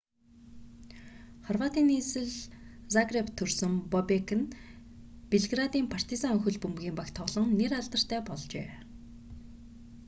хорватын нийслэл загребт төрсөн бобек нь белградын партизан хөл бөмбөгийн багт тоглон нэр алдартай болжээ